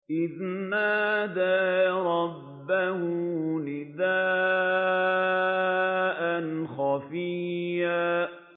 إِذْ نَادَىٰ رَبَّهُ نِدَاءً خَفِيًّا